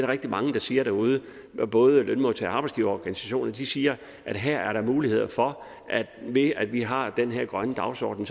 rigtig mange der siger derude både lønmodtager og arbejdsgiverorganisationer de siger at der her er muligheder for at vi ved at vi har den her grønne dagsorden